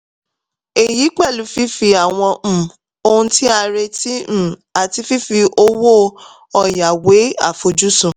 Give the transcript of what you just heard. èyí pẹ̀lú fífi àwọn um ohun tí a retí um àti fífi owó ọ̀yà wé àfojúsùn.